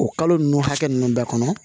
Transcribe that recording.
O kalo nunnu hakɛ ninnu bɛɛ kɔnɔ